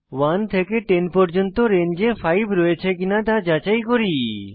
1 থেকে 10 পর্যন্ত রেঞ্জে 5 রয়েছে কিনা তা যাচাই করি